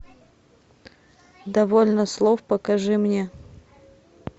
довольно слов покажи мне